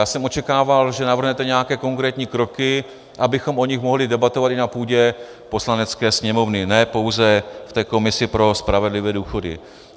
Já jsem očekával, že navrhnete nějaké konkrétní kroky, abychom o nich mohli debatovat i na půdě Poslanecké sněmovny, ne pouze v té komisi pro spravedlivé důchody.